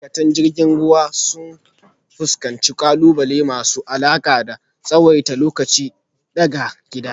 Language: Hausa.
Ma’aikatan jirgin ruwa sukan fuskanci ƙalubale masu alaƙa da tsawaita lokaci daga gida,